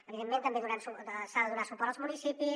evidentment també s’ha de donar suport als municipis